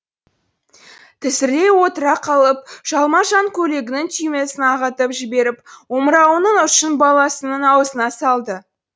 тізерлей отыра қалып жалма жан көйлегінің түймесін ағытып жіберіп омырауының ұшын баласының аузына салды